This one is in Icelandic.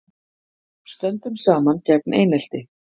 Stöndum saman gegn einelti